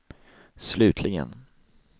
slutligen